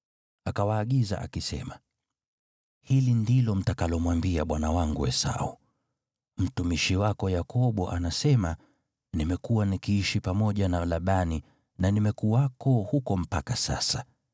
Akawaagiza akisema: “Hili ndilo mtakalomwambia bwana wangu Esau: ‘Mtumishi wako Yakobo anasema, nimekuwa nikiishi pamoja na Labani na nimekuwako huko mpaka sasa.